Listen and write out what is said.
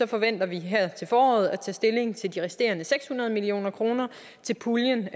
forventer vi her til foråret at tage stilling til de resterende seks hundrede million kroner til puljen